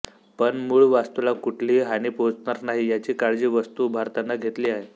पण मूळ वास्तूला कुठलीही हानी पोहचणार नाही याची काळजी वास्तू उभारतांना घेतलीआहे